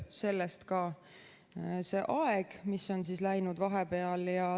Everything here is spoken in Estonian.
Sellest ka see aeg, mis on läinud.